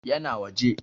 Ya na waje.